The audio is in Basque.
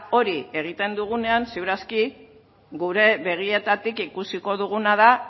hori egiten dugunean seguru aski gure begietatik ikusiko duguna da